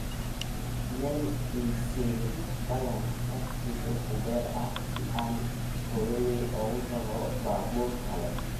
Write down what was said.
meel ii sii ballan tagsi uber ah si aan hooyaday ugu tago baabuur kale